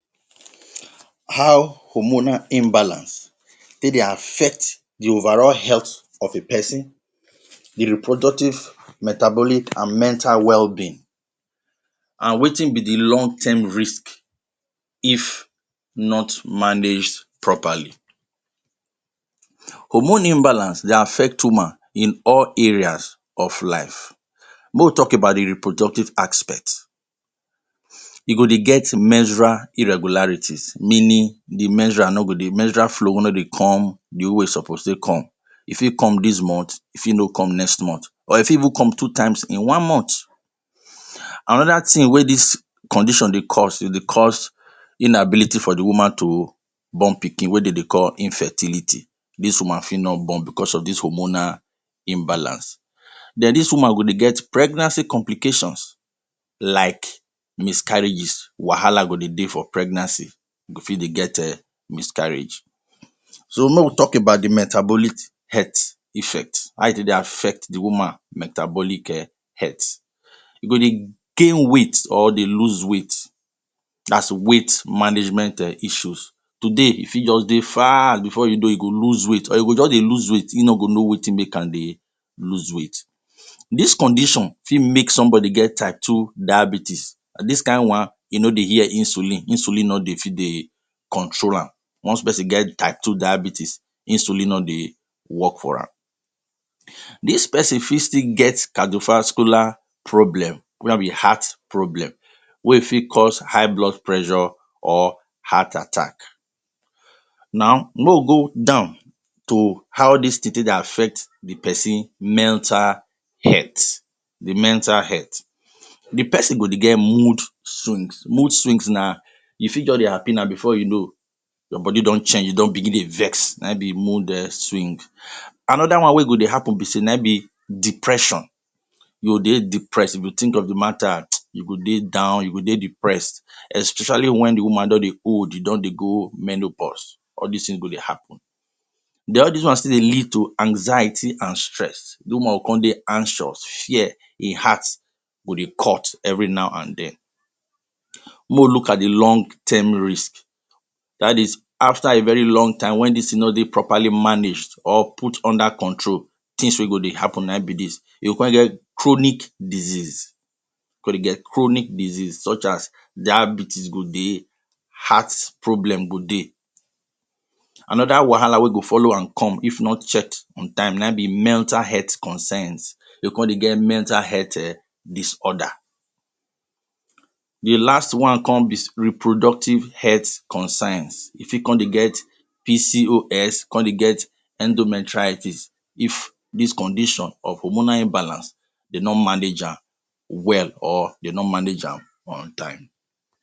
How hormonal imbalance fit dey affect the overall health of a peson, the reproductive, metabolic, and mental wellbeing and wetin be the long-term risk if not managed properly? Hormone imbalance dey affect woman in all areas of life. Make we talk about the reproductive aspect. E go dey get menstrual irregularities meaning the menstrual no go menstrual flow no go dey come the way e suppose take come. E fit come dis month, e fit no come next month, or e fit even come two times in one month. Another tin wey dis condition dey cause, e dey cause inability for the woman to born pikin wey de dey call infertility. Dis woman fit no born becos of dis hormonal imbalance. Then dis woman go dey get pregnancy complications like miscarriages. Wahala go dey dey for pregnancy. E go fit dey get um miscarriage. So, make we talk about the metabolic health effect – how e take dey affect the woman metabolic um health. E go dey gain weight or dey lose weight. Dat’s weight management um issues. Today, e fit juz dey fat before you know, e go lose weight. Or e go juz dey lose weight, ein no go know wetin make am dey lose weight. Dis condition fit make somebody get type two diabetes. Dis kain one, e no dey hear insulin. Insulin no dey fit dey control am. Once peson get type 2 diabetes, insulin no dey work for am. Dis peson fit still get cardiovascular problem wey heart problem wey fit cause high blood pressure or heart attack. Now, make we go down to how dis tin take dey affect the peson mental health, the mental health. The peson go dey get mood swings. Mood swings na you fit juz dey happy now, before you know, your body don change, you don begin dey vex. Na im be mood um swing. Another one wey go dey happen be sey na im be depression. You go dey depressed. If you think of the matter, you go dey down, you go dey depressed, especially wen the woman don dey old, e don dey go menopause. All dis tin go dey happen. Then all dis one still dey lead to anxiety and stress. The woman go con dey anxious, fear, ein heart go dey cut every now an then. Make we look at the long-term risk. That is, after a very long time wen dis tin no dey properly managed or put under control, tins wey go dey happen na ein be dis: You go con get chronic disease, dey get chronic disease such as diabetes go dey, heart problem go dey. Another wahala wey go follow am come if not checked on time na ein be mental health concerns. You go con dey get mental health um disorder. The last one con be reproductive health concerns. E fit con dey get PCOS, con dey get, endometritis if dis condition of hormonal imbalance de no manage am well or de no manage am on time.